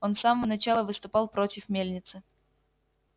он с самого начала выступал против мельницы